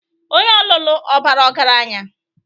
Onye ọlụlụ ọ bara ọgaranya?